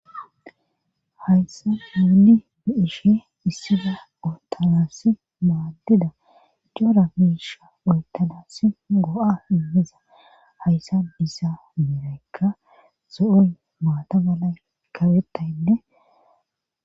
Hayssa mueli bi ishe issila otanassi maaddida jora miisha oytanassi go'a immeza hayssa disa miraykka zo'oy maata balay kabettaynne